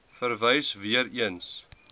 verwys weer eens